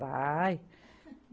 Vai.